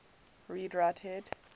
read write head